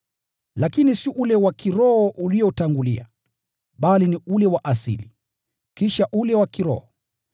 Lakini si ule wa kiroho uliotangulia, bali ni ule wa asili, kisha ule wa kiroho.